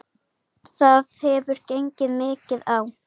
Það hefur gengið mikið á!